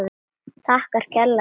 Þakkar kærlega fyrir sig.